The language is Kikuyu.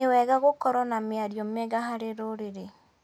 Nĩ wega gũkorwo na mĩario mĩega harĩ rũrĩrĩ.